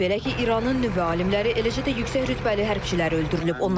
Belə ki, İranın nüvə alimləri, eləcə də yüksək rütbəli hərbçiləri öldürülüb.